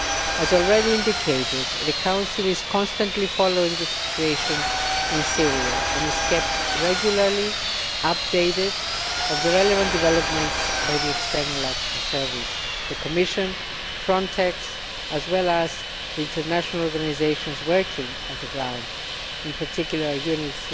As already indicated the Council is constantly following the situation in Syria and is kept regularly updated of the relevant developments by the External Action Service, the Commission, FRONTEX, as well as the international organisations working on the ground, in particular UNHCR